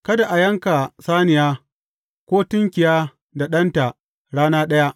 Kada a yanka saniya, ko tunkiya da ɗanta rana ɗaya.